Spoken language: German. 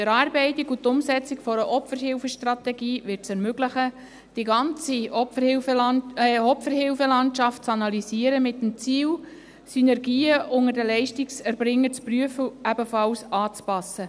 Die Erarbeitung und die Umsetzung einer Opferhilfestrategie wird es ermöglichen, die ganze Opferhilfe-Landschaft mit dem Ziel zu analysieren, Synergien unter den Leistungserbringern zu prüfen und ebenfalls anzupassen.